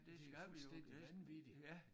Det jo fuldstændig vanvittigt